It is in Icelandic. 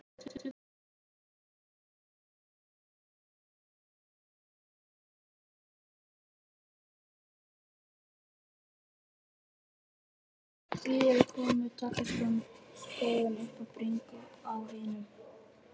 Víðir er kominn með takkaskóinn upp í bringu á hinum.